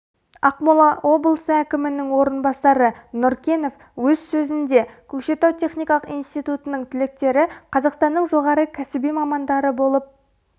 ақмола облысы әкімінің орынбасары нұркенов өз сөзінде көкшетау техникалық институтының түлектері қазақстанның жоғары кәсіби мамандары болып